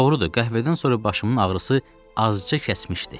Doğrudur, qəhvədən sonra başımın ağrısı azca kəsmişdi.